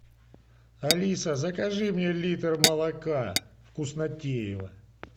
алиса закажи мне литр молока вкуснотеево